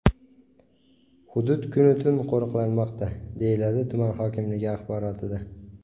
Hudud kun-u tun qo‘riqlanmoqda”, deyiladi tuman hokimligi axborotida.